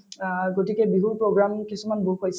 অ, গতিকে বিহুৰ program কিছুমান